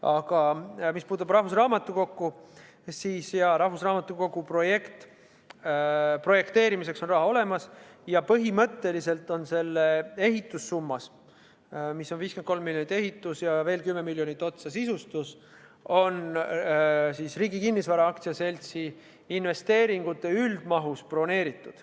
Aga mis puudutab rahvusraamatukogu, siis jah, selle projekteerimiseks on raha olemas ja põhimõtteliselt on see summa – 53 miljonit eurot ehituse ja veel 10 miljonit eurot sisustuse jaoks – Riigi Kinnisvara AS-i investeeringute üldmahust broneeritud.